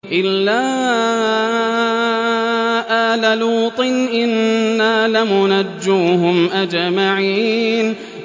إِلَّا آلَ لُوطٍ إِنَّا لَمُنَجُّوهُمْ أَجْمَعِينَ